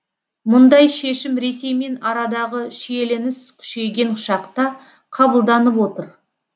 мұндай шешім ресеймен арадағы шиеленіс күшейген шақта қабылданып отыр